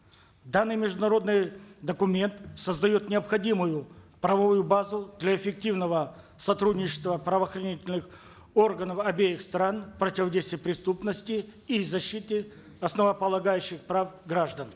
данный международный документ создает необходимую правовую базу для эффективного сотрудничества правоохранительных органов обеих стран в противодействии преступности и защите основополагающих прав граждан